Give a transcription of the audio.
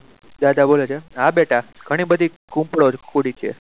દાદા બોલે છે હા બેટા ઘણી બધી ખુદી છે.